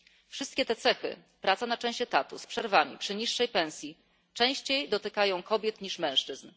Wszystkie te cechy praca na część etatu, z przerwami, przy niższej pensji częściej dotykają kobiety niż mężczyzn.